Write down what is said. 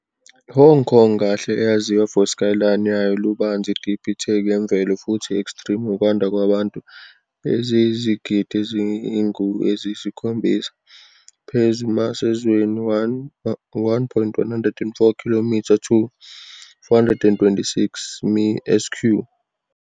Hong Kong kahle eyaziwa for skyline yayo lubanzi, deep itheku yemvelo futhi extreme ukwanda kwabantu, eziyizigidi ezingu eziyisikhombisa phezu mass ezweni 1.104 km2, 426 mi sq,.